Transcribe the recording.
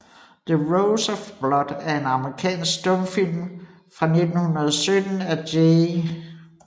The Rose of Blood er en amerikansk stumfilm fra 1917 af J